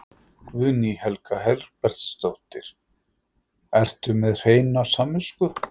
Guðný Helga Herbertsdóttir: Ertu með hreina samvisku?